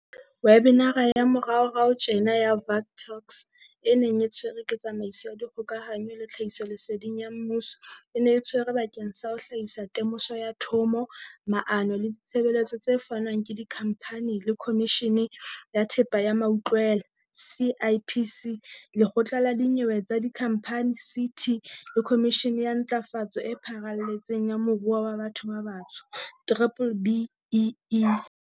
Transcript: Webinara ya moraorao tjena ya Vuk Talks, e neng e tshwerwe ke tsamaiso ya dikgokahanyo le tlhahisoleseding ya Mmuso, e ne e tshwerwe bakeng sa ho hlahisa temoso ya thomo, maano le ditshebeletso tse fanwang ke Dikhamphani le Khomishene ya Thepa ya Mautlwela CIPC. Lekgotla la Dinyewe tsa Dikhamphani CT le Khomishene ya Ntlafatso e Pharaletseng ya Moruo wa Batho ba Batsho B-BBEE.